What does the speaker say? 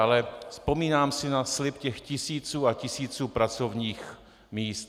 Ale vzpomínám si na slib těch tisíců a tisíců pracovních míst.